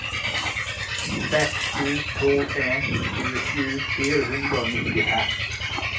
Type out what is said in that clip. seks sju to en tjuesju fire hundre og nittifem